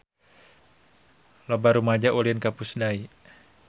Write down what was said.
Loba rumaja ulin ka Pusdai